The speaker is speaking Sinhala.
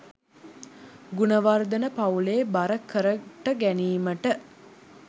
ගුණවර්ධන පවුලේ බර කරට ගැනීමට